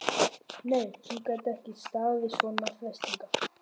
Nei, hún gat ekki staðist svona freistingar.